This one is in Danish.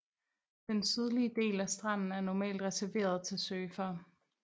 Den sydlige del af stranden er normalt reserveret til surfere